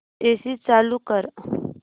AC चालू कर